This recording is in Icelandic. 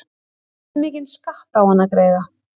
Hversu mikinn skatt á hann að greiða?